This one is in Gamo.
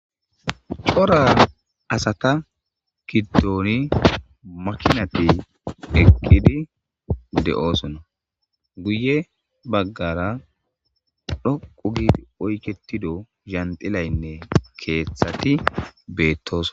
Cora asata gidoni makinati beetidi de'osona guye bagara dhoqu giidi oyketido lanxilaynne keethati beetosona.